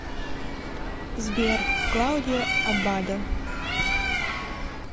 сбер клаудио аббадо